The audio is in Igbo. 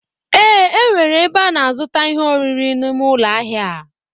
Ee, enwere ebe a na azuta ihe oriri n'ime ụlọ ahịa a.